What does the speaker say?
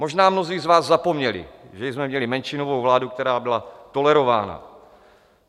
Možná mnozí z vás zapomněli, že jsme měli menšinovou vládu, která byla tolerována.